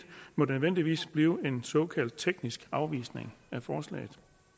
må nødvendigvis blive en såkaldt teknisk afvisning af forslaget